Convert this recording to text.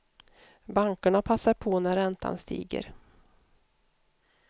Bankerna passar på när räntan stiger.